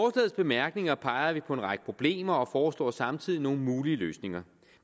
bemærkninger peger vi på en række problemer og foreslår samtidig nogle mulige løsninger